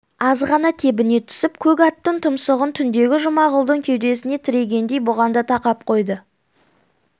азғана тебіне түсіп көк аттың тұмсығын түндегі жұмағұлдың кеудесіне тірегендей бұған да тақап қойды